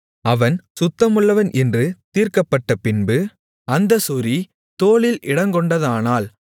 அவன் சுத்தமுள்ளவன் என்று தீர்க்கப்பட்டபின்பு அந்தச் சொறி தோலில் இடங்கொண்டதானால்